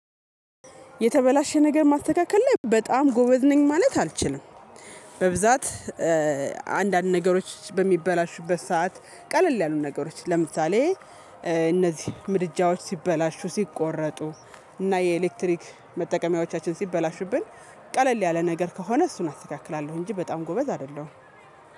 የተበላሸ ነገር ማስተካከል ላይ በጣም ጎበዝ ነኝ ማለት አልችልም። በብዛት አንዳንድ ነገሮች በሚበላሹበት ሰዓት ቀለል ያሉት ነገሮች ለምሳሌ እነዚህ ምድጃዎች ሲበላሹ ሲቆረጡ እና የኤሌክትሪክ መጠቀሚያዎቻችን ሲበላሹብን ቀለል ያለ ነገር ከሆነ እሱን አስተካክላለሁ። እንጂ በጣም ጎበዝ አይደለሁም